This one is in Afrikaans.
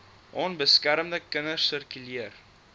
onbeskermde kinders sirkuleer